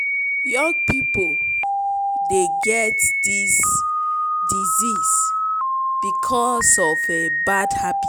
young people dey get this disease because of bad habits.